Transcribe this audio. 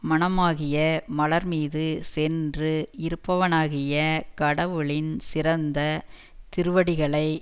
மனமாகிய மலர் மீது சென்று இருப்பவனாகிய கடவுளின் சிறந்த திருவடிகளை